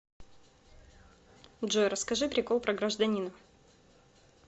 джой расскажи прикол про гражданина